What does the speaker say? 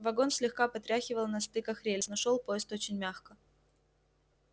вагон слегка потряхивало на стыках рельс но шёл поезд очень мягко